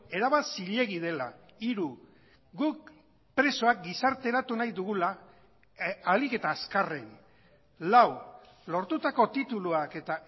erabat zilegi dela hiru guk presoak gizarteratu nahi dugula ahalik eta azkarren lau lortutako tituluak eta